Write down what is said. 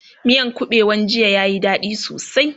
miyan kabewan jiya ya Yi dadi sosai